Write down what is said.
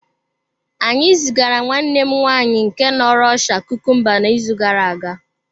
Anyị zigara nwanne m nwaanyị nke nọ Rọshịa kukumba n’izu gara aga.